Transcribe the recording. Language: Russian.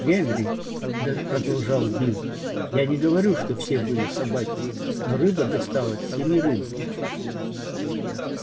генри продолжал билл я не говорю что все были собаки но рыба досталась семерым